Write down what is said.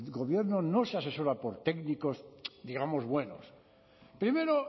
gobierno no se asesora por técnicos digamos buenos primero